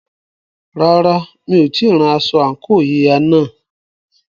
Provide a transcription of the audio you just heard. Rárá, mi ò tíì rán aṣọ àǹkóò yíya náà.